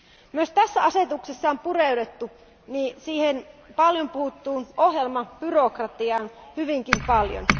Myös tässä asetuksessa on pureuduttu paljon puhuttuun ohjelmabyrokratiaan hyvinkin paljon.